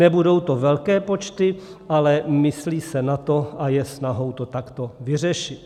Nebudou to velké počty, ale myslí se na to a je snahou to takto vyřešit.